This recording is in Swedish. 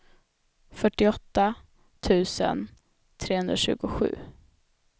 fyrtioåtta tusen trehundratjugosju